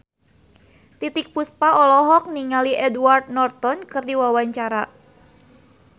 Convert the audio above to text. Titiek Puspa olohok ningali Edward Norton keur diwawancara